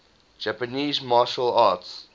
japanese martial arts